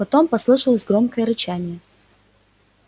потом послышалось громкое рычание